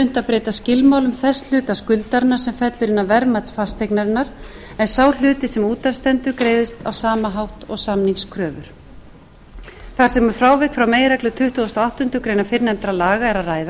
breyta skilmálum þess hluta skuldaranna sem fellur innan verðmætis fasteignarinnar en sá hluti sem út af stendur greiðist á sama hátt og samningskröfur þar sem um frávik frá meginreglu tuttugasta og áttundu greinar fyrrnefndra laga er að